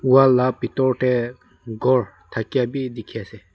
Wall la bethor dae ghor thakya bhi dekhe ase.